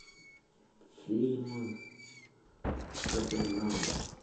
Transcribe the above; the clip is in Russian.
фильм капернаум